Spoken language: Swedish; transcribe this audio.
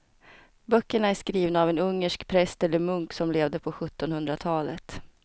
Böckerna är skrivna av en ungersk präst eller munk som levde på sjuttonhundratalet.